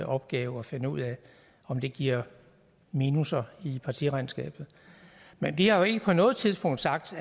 opgave at finde ud af om det giver minusser i partiregnskabet men vi har jo ikke på noget tidspunkt sagt